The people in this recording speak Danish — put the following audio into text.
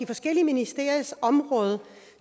forskellige ministeriers område